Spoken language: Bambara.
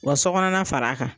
U ka so kɔnɔna fara a kan.